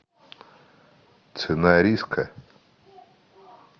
цена риска